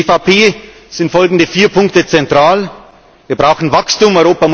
Für die EVP sind folgende vier Punkte zentral Erstens Wir brauchen Wachstum.